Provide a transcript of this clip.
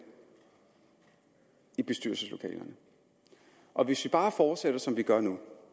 i bestyrelseslokalerne og hvis vi bare fortsætter som vi gør nu